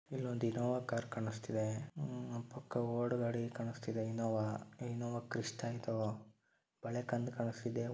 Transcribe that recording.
ಇಲ್ಲೊಂದು Innova car ಕಾಣುತ್ತಿದೆ. ನನ್ನ ಪಕ್ಕ ಓಲ್ಡ್ ಗಡಿ ಕಾಣುತ್ತಿರುವ ಇನ್ನೋವಾ ಇನ್ನೋವಾ ಕ್ರಿಸ್ತ ಇದು ಕಣ್ಣಿಗೆ ಮಾಡಿ --